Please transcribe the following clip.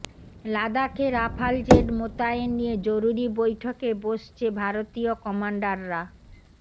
লাদাখে Rafale jet মোতায়েন নিয়ে জরুরি বৈঠকে বসছে ভারতীয় কমান্ডাররা